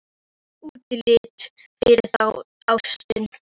Það er útlit fyrir það, ástin.